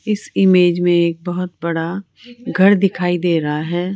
इस इमेज में एक बहुत बड़ा घर दिखाई दे रहा है।